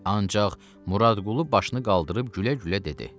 Ancaq Muradqulu başını qaldırıb gülə-gülə dedi: